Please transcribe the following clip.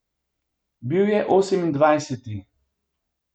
Bil je osemindvajseti.